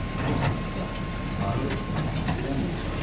O sısqa, arıq, kürən bir uşaq idi.